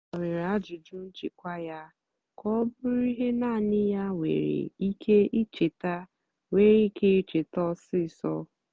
ọ́ gbanwèré àjụ́jụ́ nchèkwà yá kà ọ́ bụ́rụ́ íhé náànị́ yá nwèrè íké íchétá nwèrè íké íchétá ọ́sisọ́.